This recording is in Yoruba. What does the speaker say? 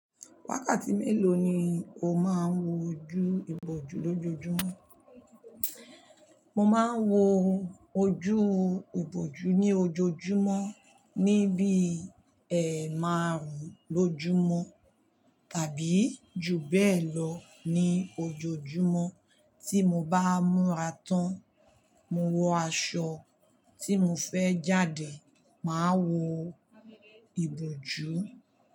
Wákàtí mélòó ni o máa ń wọ ojú ìbòjú lójoojúmọ́? Mo máa ń wọ ojú ìbòjú ní ojoojúmọ́ ní bí ẹ̀ márùn-ún lójúmọ́ tàbí jù bẹ́ẹ̀ lọ ní ojoojúmọ́ tí mo bá múra tán. Mo wọ aṣọ tí mo fẹ́ jáde, màá wọ ìbòjú.